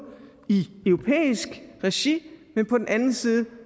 i europæisk regi men på den anden side